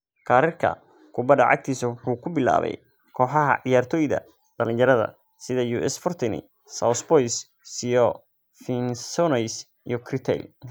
Kariirka kubadda cagtiisa wuxuu ku bilaabay kooxaha ciyaartoyda dhalinyarada sida US Fortenay-sous-Bois, CO Vincennois, iyo Créteil.